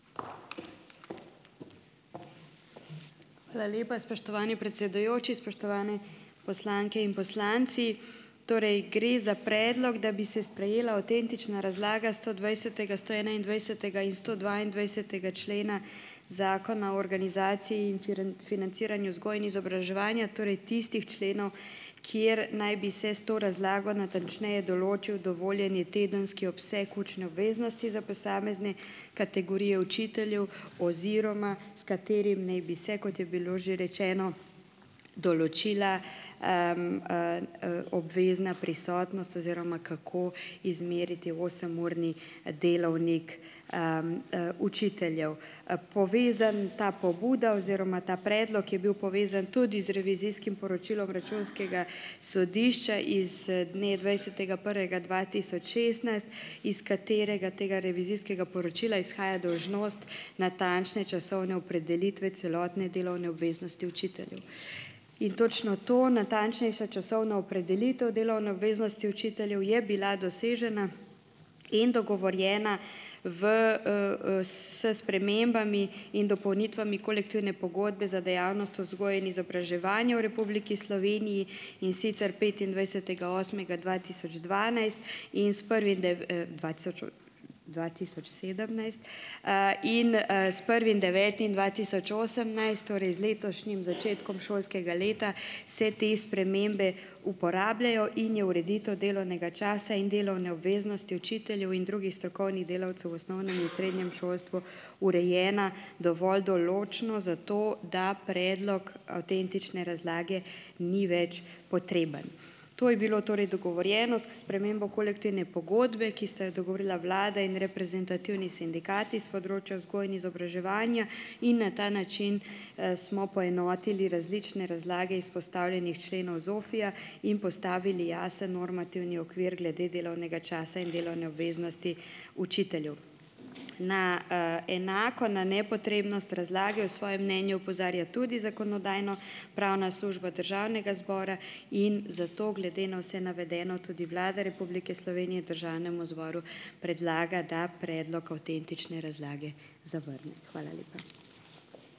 Hvala lepa, spoštovani predsedujoči, spoštovane poslanke in poslanci. Torej gre za predlog, da bi se sprejela avtentična razlaga stodvajsetega, stoenaindvajsetega in stodvaindvajsetega člena. Zakona o organizaciji in financiranju vzgoje in izobraževanja, torej tistih členov, kjer naj bi se s to razlago natančneje določil dovoljeni tedenski obseg učne obveznosti za posamezne kategorije učiteljev oziroma s katerim naj bi se, kot je bilo že rečeno, določila, obvezna prisotnost oziroma kako izmeriti osemurni, delovnik, učiteljev. Povezan, ta pobuda oziroma ta predlog je bil povezan tudi z revizijskim poročilom računskega sodišča iz, dne dvajsetega prvega dva tisoč šestnajst, iz katerega tega revizijskega poročila izhaja dolžnost natančne časovne opredelitve celotne delovne obveznosti učiteljev. In točno to, natančnejša časovna opredelitev delovne obveznosti učiteljev je bila dosežena in dogovorjena v, s spremembami in dopolnitvami kolektivne pogodbe za dejavnost vzgoje in izobraževanja v Republiki Sloveniji, in sicer petindvajsetega osmega dva tisoč dvanajst in s prvim dva tisoč, dva tisoč sedemnajst, in, s prvim devetim dva tisoč osemnajst, torej z letošnjim začetkom šolskega leta, se te spremembe uporabljajo in je ureditev delovnega časa in delovne obveznosti učiteljev in drugih strokovnih delavcev v osnovnem in srednjem šolstvu urejena dovolj določno, zato da predlog avtentične razlage ni več potreben. To je bilo torej dogovorjeno s spremembo kolektivne pogodbe, ki sta jo dogovorila vlada in reprezentativni sindikati s področja vzgoje in izobraževanja in na ta način, smo poenotili različne razlage izpostavljenih členov ZOFVI-ja in postavili jasen normativni okvir glede delovnega časa in delovne obveznosti učiteljev. Na, enako na nepotrebnost razlage v svojem mnenju opozarja tudi Zakonodajno- pravna služba Državnega zbora in zato glede na vse navedeno tudi Vlada Republike Slovenije Državnemu zboru predlaga, da predlog avtentične razlage zavrne. Hvala lepa.